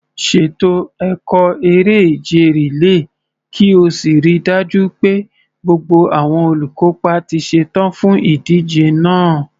Ṣètò ẹ̀kọ́ eré-ìje rìléè kí o sì rí i dájú pé gbogbo àwọn olùkópa ti ṣetán fún ìdíje náà.